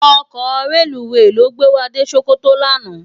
Òkò rélúwé ló gbé wá dé Sokoto làná